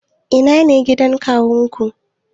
Ina ne gidan kawunku?